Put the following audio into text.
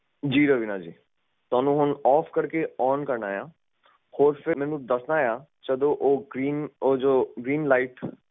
ਜੀ ਰਵੀਨਾ ਜੀ ਤੁਸੀਂ ਹੁਣ ਓਫ ਕਰਕੇ ਓਨ ਕਰਨਾ ਆ ਹੋਰ ਫੇਰ ਮੈਨੂੰ ਦੱਸਣਾ ਆ ਜਦੋ ਉਹ ਗ੍ਰੀਨ ਲਾਈਟ ਸਟੇਬਲ ਜਾਏ ਤਾ ਤੁਸੀਂ ਮੈਨੂੰ ਆ ਦੱਸ ਦਿਓ